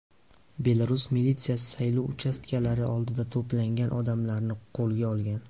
Belarus militsiyasi saylov uchastkalari oldida to‘plangan odamlarni qo‘lga olgan .